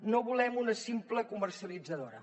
no volem una simple comercialitzadora